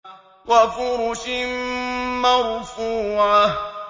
وَفُرُشٍ مَّرْفُوعَةٍ